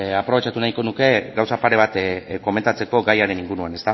aprobetxatu nahiko nuke gauza pare bat komentatzeko gaiaren inguruan